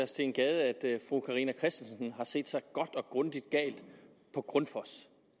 steen gade at fru carina christensen har set sig godt og grundigt gal på grundfos